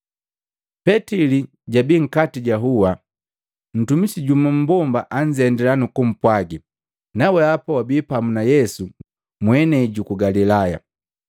Petili jabii nkati ja hua. Ntumisi jumu mmbomba anzendila nukumpwagi, “Na wehapa wabii pamu na Yesu mwenei ku Galilaya.”